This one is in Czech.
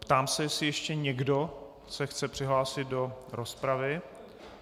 Ptám se, jestli ještě někdo se chce přihlásit do rozpravy.